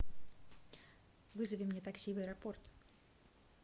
вызови мне такси в аэропорт